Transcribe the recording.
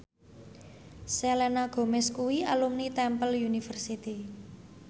Selena Gomez kuwi alumni Temple University